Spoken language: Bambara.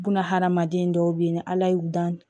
Bunahadamaden dɔw be yen ni ala y'u dan